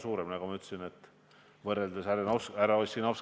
Küll aga peab maksumaksja teie nõudmisel andma suure riskiga ärisse miljoneid.